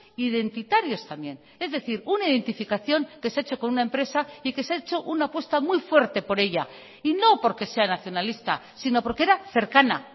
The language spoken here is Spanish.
identitarios también es decir una identificación que se ha hecho con una empresa y que se ha hecho una apuesta muy fuerte por ella y no porque sea nacionalista sino porque era cercana